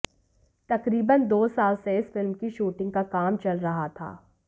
तकरीबन दो साल से इस फिल्म की शूटिंग का काम चल रहा था